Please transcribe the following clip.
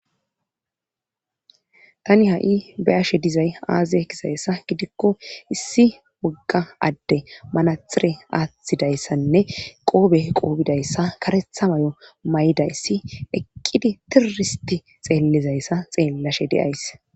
tani ha7i ba ashe dizay aazaye kisayssa gidikko issi wogga adde manathire aaththidayssanne qoobe qoobidayssa karetha mayo may7idayssi eqqidi tiroristi xeellizayssa xeellashe deays